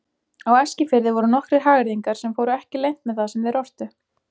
Á Eskifirði voru nokkrir hagyrðingar sem fóru ekki leynt með það sem þeir ortu.